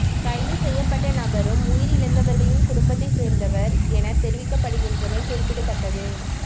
கைது செய்யப்பட்ட நபரும் உயிரிழந்தவர்களின் குடும்பத்தை சேர்ந்தவர் தஎன தெரிவிக்கப்படுகின்றமை குறிப்பிடத்தக்கது